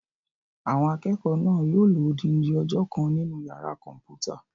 Àwọn akẹ́kọ̀ọ́ náà yóò lo odindi ọjọ́ kan nínu yàrá-kọ̀mpúta